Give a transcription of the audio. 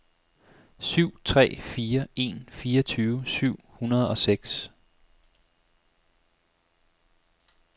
syv tre fire en fireogtyve syv hundrede og seks